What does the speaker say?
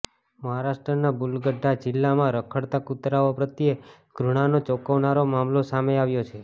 મહારાષ્ટ્રના બુલઢાના જીલ્લામાં રખડતા કૂતરાઓ પ્રત્યે ધૃણાનો ચોંકાવનારો મામલો સામે આવ્યો છે